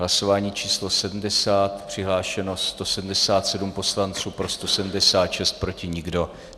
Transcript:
Hlasování číslo 70, přihlášeno 177 poslanců, pro 176, proti nikdo.